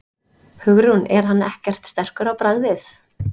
Hugrún: Er hann ekkert sterkur á bragðið?